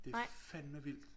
Det fandme vildt